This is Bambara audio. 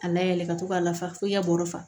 A layɛlɛn ka to ka lafa fo i ɲɛ kɔrɔ